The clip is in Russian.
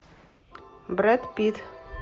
брэд питт